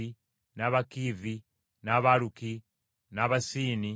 n’Abakiivi, n’Abaluki, n’Abasiini,